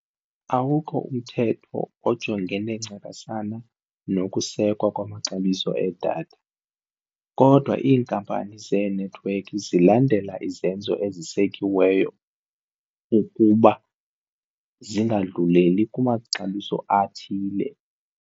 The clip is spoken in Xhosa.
Awukho umthetho ojongene ncakasana nokusekwa kwamaxabiso edatha, kodwa iinkampani zenethiwekhi zilandela izenzo ezisekiweyo ukuba zingadluleli kumaxabiso athile.